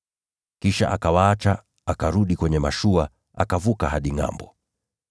Kisha akawaacha, akarudi kwenye mashua, akavuka hadi ngʼambo.